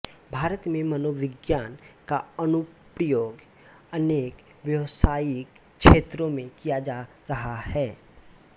भारत में मनोविज्ञान का अनुप्रयोग अनेक व्यावसायिक क्षेत्रों में किया जा रहा है